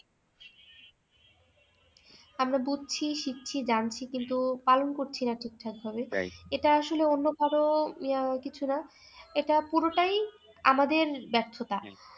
আমরা বুঝছি শিখছি জানছি কিন্তু পালন করছি না ঠিকঠাক ভাবে এটা আসলে অন্য ধরো ইয়া কিছু না এটা পুরোটাই আমাদের ব্যর্থতা